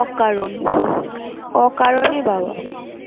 অকারণ অকারণে বাবা